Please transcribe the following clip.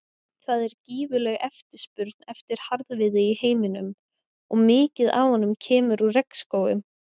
Það er gífurleg eftirspurn eftir harðviði í heiminum og mikið af honum kemur úr regnskógum.